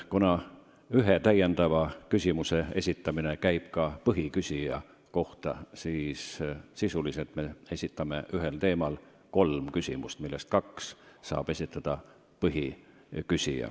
Kuna ühe täiendava küsimuse saab esitada ka põhiküsija, on ühe teema kohta võimalik sisuliselt küsida kolm küsimust, millest kaks saab esitada põhiküsija.